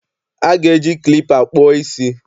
A ga-eji klipa kpụọ isí.